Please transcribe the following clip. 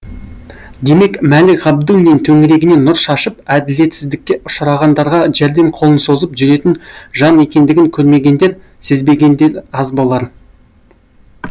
демек мәлік ғабдуллин төңірегіне нұр шашып әділетсіздікке ұшырағандарға жәрдем қолын созып жүретін жан екендігін көрмегендер сезбегендер аз болар